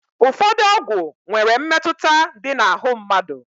Ụfọdụ ọgwụ nwere mmetụta dị na ahụ mmadụ.